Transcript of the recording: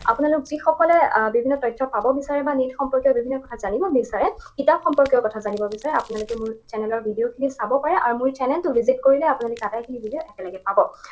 আপোনালোক যিসকলে আহ বিভিন্ন তথ্য পাব বিচাৰে বা news সম্পৰ্কীয় বিভিন্ন কথা জানিব বিচাৰে, কিতাপ সম্পৰ্কীয় কথা জানিব বিচাৰে, আপোনালোকে মোৰ channel ৰ video খিনি চাব পাৰে আৰু মোৰ এই channel টো visit কৰিলে আপোনালোকে আটাইখিনি video একেলগে পাব।